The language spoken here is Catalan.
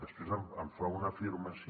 després em fa una afirmació